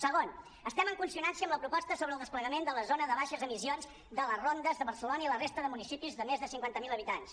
segon estem en consonància amb la proposta sobre el desplegament de la zona de baixes emissions de les rondes de barcelona i la resta de municipis de més de cinquanta miler habitants